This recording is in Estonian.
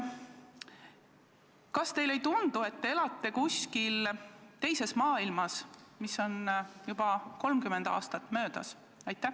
Kas teile ei tundu, et te elate kuskil teises maailmas, millest on juba 30 aastat möödas?